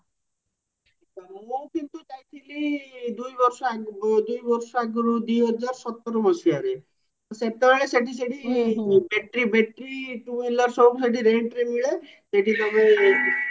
କିନ୍ତୁ ଯାଇଥିଲି ଦୁଇ ବର୍ଷ ଆଗରୁ ଦୁଇ ବର୍ଷ ଆଗରୁ ଦୁଇହାଜର ସତର ମଶିହାରେ ସେତେବେଳେ ସେଠି ସେଠି battery battery two wheeler ସବୁ ସେଠି rentରେ ମିଳେ ସେଠି ତମେ